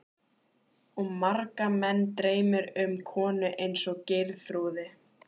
Og marga menn dreymir um konu eins og Geirþrúði.